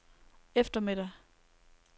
eftermiddag